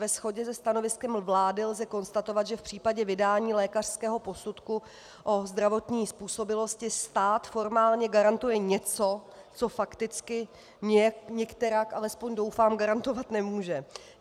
Ve shodě se stanoviskem vlády lze konstatovat, že v případě vydání lékařského posudku o zdravotní způsobilosti stát formálně garantuje něco, co fakticky nikterak, alespoň doufám, garantovat nemůže.